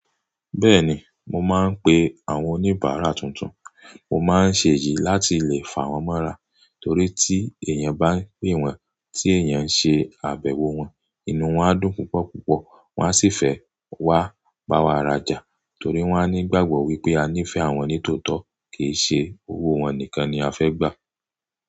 Bẹ́ẹ̀ni, mo máa ń pe àwọn oníbàárà tuntun. Mo máa ń ṣe èyí láti lè fà wọ́n mọ́ra torí tí èèyàn bá ń pè wọ́n, tí èèyàn ṣe àbẹ̀wò wọ́n, inú wọ́n á dùn púpọ̀púpọ̀. Wọ́n á sì fẹ́ wá bá wa rajà torí wọ́n á ní ìgbàgbọ́ wípé a nífẹ̀ẹ́ àwọn ni tòótọ́, kì í ṣe owó wọn nìkan ni a fẹ́ gbà.